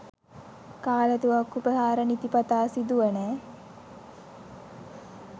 කාලතුවක්කු ප්‍රහාර නිතිපතා සිදුවන